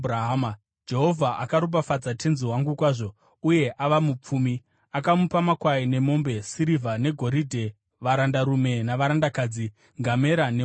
Jehovha akaropafadza tenzi wangu kwazvo, uye ava mupfumi. Akamupa makwai nemombe, sirivha negoridhe, varandarume navarandakadzi, ngamera nembongoro.